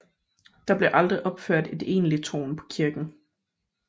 Der blev aldrig opført et egentligt tårn på kirken